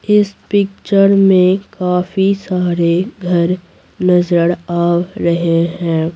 इस पिक्चर में काफी सारे घर नजर आ रहे हैं।